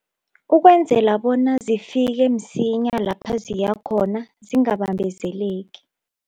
Ukwenzela bona zifike msinya lapha ziyakhona zingabambezeleki.